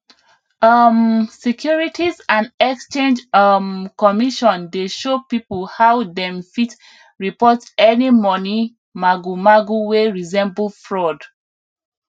um securities and exchange um commission dey show people how dem fit report any money magu magu wey resemble fraud